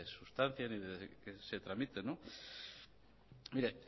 sustancien y de que se tramite